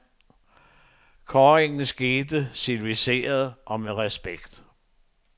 Kårringen skete civiliseret og med respekt.